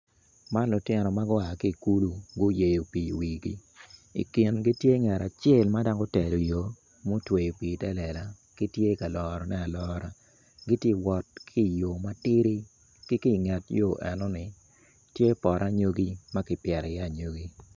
Man lutino ma gua ki ikulu guyeyo pii i wigi ikingi tye ngat acel ma dok otelo yor ma otweyo pii ite lela gitye kalorone alora gitye kawot ki yo matidi ki kinget yor enoni tye i iye poto anyogi ma kipito i iye anyogi